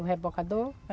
O rebocador?